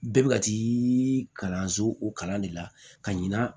Bɛɛ bɛ ka t'i kalan so o kalan de la ka ɲina